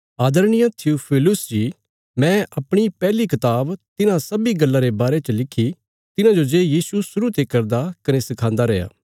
आदरणीय थियूफिलुस जी मैं अपणी पैहली कताब तिन्हां सब्बीं गल्लां रे बारे च लिखी तिन्हांजो जे यीशु शुरु ते करदा कने सखांदा रैया